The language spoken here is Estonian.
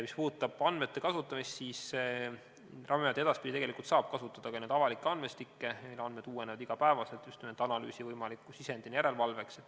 Mis puudutab andmete kasutamist, siis Ravimiamet edaspidi tegelikult saab kasutada ka neid avalikke andmestikke, need andmed uuenevad iga päev, just nimelt analüüsi võimaliku sisendina järelevalveks.